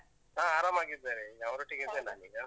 ಹಾ, ಆರಾಮಾಗಿದ್ದಾರೆ. ಅವರೊಟ್ಟಿಗೆನೆ ಇದ್ದೇನ್ ನಾನೀಗ.